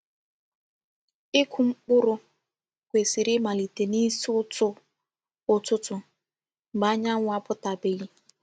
Ịkụ mkpụrụ kwesị̀rị̀ ịmalite n’ịsi ụ̀tụ̀ ụ̀tụtụ, mgbe anyánwụ̀ apụ̀tàbèghị.